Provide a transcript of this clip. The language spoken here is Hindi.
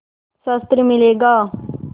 शस्त्र मिलेगा